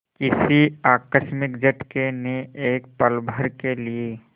किसी आकस्मिक झटके ने एक पलभर के लिए